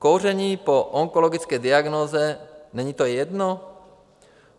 Kouření po onkologické diagnóze - není to jedno?